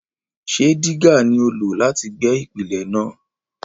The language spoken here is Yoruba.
Ṣé dígà ni o lò láti gbẹ́ ìpìlẹ̀ náà?